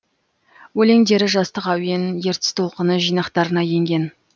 өлеңдері жастық әуен ертіс толқыны жинақтарына енген